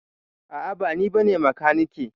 A'a ba ni bane makaniki.